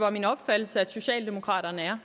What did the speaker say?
er min opfattelse at socialdemokraterne er